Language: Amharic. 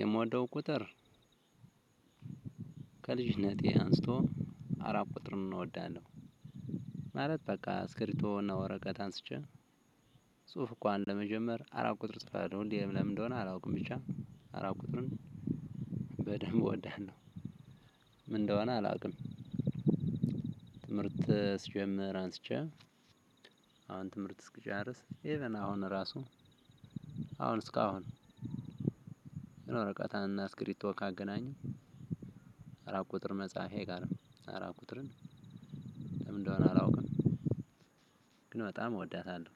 የምወደው ቁጥር ከልጅነቴ አንስቶ አራት ቁጥር ነው እወዳለሁ። አራት በቃ ስክሪቶና እና ወረቀት አንስቼ ጽሁፍ እንኳን ለመጀመር አራት ቁጥር ጽፋለው ነው። እንዴ ለምን እንደሆነ አላውቅም። ብቻ አራት ቁጥርን በደንብ ወዳነው ምን እንደሆነ አላውቅም። ትምህርት ስጀምር አንስቼ አሁን ትምህርት እስኪጨርስ ኢቭን አሁን ራሱ አሁን እስካሁን የወረቀት አና ስክሪቶ ካገናኘው። አራት ቁጥር መጽሐፌ አይቀርም አራት ቁጥርን ምን እንደሆነ አላውቅም። ግን በጣም እወዳታለሁ።